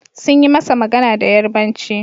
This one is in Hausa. Sun yi masa magana da Yarbanci.